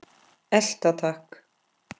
Elta takk!